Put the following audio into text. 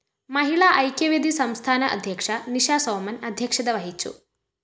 മഹിളാ ഐക്യവേദി സംസ്ഥാന അദ്ധ്യക്ഷ നിഷസോമന്‍ അധ്യക്ഷത വഹിച്ചു